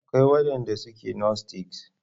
Akwai wadanda suke gnostics.